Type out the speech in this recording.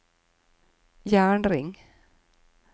jernring